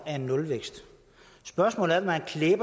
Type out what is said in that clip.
nulvækst